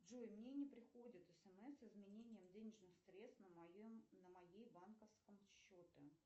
джой мне не приходит смс с изменением денежных средств на моем банковском счете